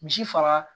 Misi faga